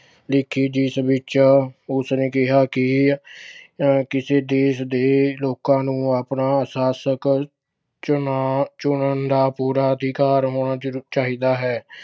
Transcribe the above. ਲਿਖੀ ਜਿਸ ਵਿੱਚ ਉਸਨੇ ਕਿਹਾ ਕਿ ਕਿਸੇ ਦੇਸ਼ ਦੇ ਲੋਕਾਂ ਨੂੰ ਆਪਣਾ ਸ਼ਾਸ਼ਕ ਚੁਣਾ ਅਹ ਚੁਣਨ ਦਾ ਪੂਰਾ ਅਧਿਕਾਰ ਹੋਣਾ ਚਾਹੀ ਅਹ ਚਾਹੀਦਾ ਹੈ।